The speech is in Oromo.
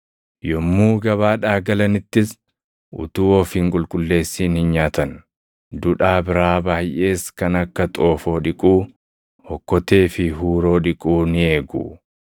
Yommuu gabaadhaa galanittis utuu of hin qulqulleessin hin nyaatan. Dudhaa biraa baayʼees kan akka xoofoo dhiquu, okkotee fi huuroo dhiquu ni eegu.